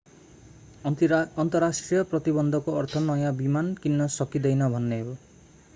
अन्तर्राष्ट्रिय प्रतिबन्धको अर्थ नयाँ विमान किन्न सकिँदैन भन्ने हो